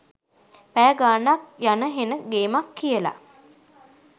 පැය ගානක් යන හෙන ගේමක් කියල